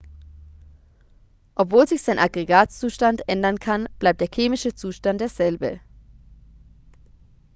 obwohl sich sein aggregatzustand ändern kann bleibt der chemische zustand derselbe